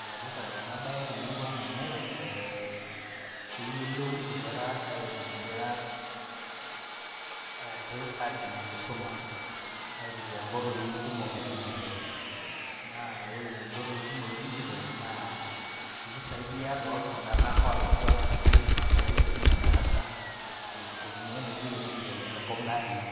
Enetipat enabae temurua aang amu ee keyiolou nkera aitumia atijing enkisuma aitumia nkoitoi kumok e digital naaore nkoitoi kumok e digital naa mpisai toltunganak olakwa amu kiidim enkerai atijinga darasa aitumia inaoitoi edigital tenkop natii